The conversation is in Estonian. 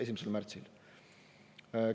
1. märtsil.